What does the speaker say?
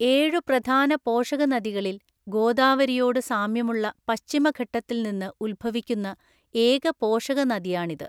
ഏഴു പ്രധാന പോഷകനദികളിൽ ഗോദാവരിയോട് സാമ്യമുള്ള പശ്ചിമഘട്ടത്തിൽ നിന്ന് ഉത്ഭവിക്കുന്ന ഏക പോഷകനദിയാണിത്.